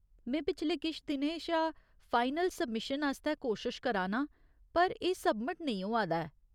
में पिछले किश दिनें शा फाइनल सब्मिशन आस्तै कोशश करा नां, पर एह् सब्मिट नेईं होआ दा ऐ।